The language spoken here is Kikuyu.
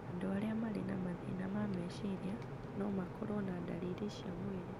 Andũ arĩa marĩ na mathĩna ma meciria no makorũo na ndariri cia mwĩrĩ